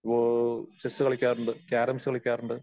ഓ chess കളിക്കാറുണ്ട്, കാരംസ് കളിക്കാറുണ്ട്